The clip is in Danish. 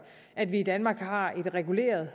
at vi i danmark har et reguleret